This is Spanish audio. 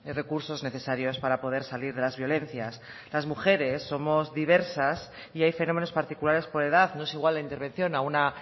recursos necesarios para poder salir de las violencias las mujeres somos diversas y hay fenómenos particulares por edad no es igual la intervención a una